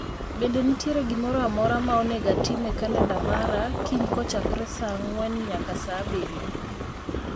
Bende nitiere gimoro amora ma onego atim e kalenda mara kiny kochakore saa ang'wen nyaka saa abirio